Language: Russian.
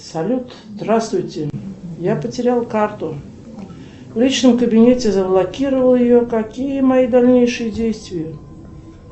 салют здравствуйте я потерял карту в личном кабинете заблокировал ее какие мои дальнейшие действия